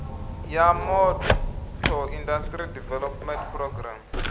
ya motor industry development programme